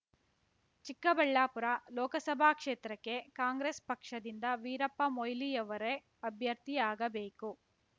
ಚಿಕ್ಕಬಳ್ಳಾಪುರ ಲೋಕಸಭಾ ಕ್ಷೇತ್ರಕ್ಕೆ ಕಾಂಗ್ರೆಸ್ ಪಕ್ಷದಿಂದ ವೀರಪ್ಪ ಮೊಯ್ಲಿ ಯವರೆ ಅಭ್ಯರ್ಥಿಯಾಗಬೇಕು